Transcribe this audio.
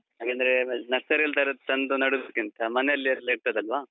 ಹಾಗಂದ್ರೆ ನರ್ಸರಿಯಲ್ಲಿ ತರುದು ತಂದು ನಡುದುಕ್ಕಿಂತ ಮನೆಯಲೆಲ್ಲ ಇರ್ತದಲ್ವಾ.